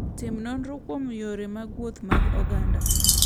Tim nonro kuom yore mag wuoth mag oganda.